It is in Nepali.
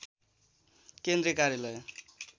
केन्द्रीय कार्यालय